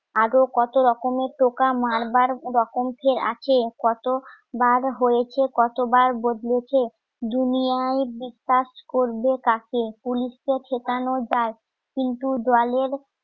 আদেও কত রকমের টোকা মারবার রকম ফের আছে. কত বার হয়ছে. কতবার বদলেছে. দুনিয়ায় বিশ্বাস করবে কাকে? পুলিশকে ঠেকানো যায় কিন্তু দলের